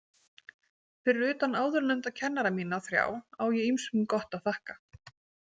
Fyrir utan áðurnefnda kennara mína þrjá á ég ýmsum gott að þakka.